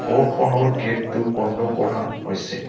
ঘৰখনৰ গেটটো বন্ধ কৰা হৈছে।